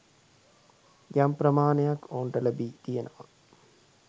යම් ප්‍රමාණයක් ඔවුන්ට ලැබි තියෙනවා.